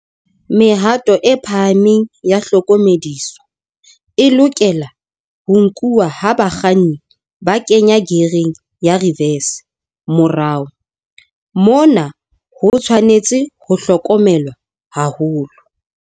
Mehato e phahameng ya hlokomediso e lokela ho nkuwa ha bakganni ba kenya geareng ya reverse, morao. Mona ho tshwanetse ho hlokomelwa haholo.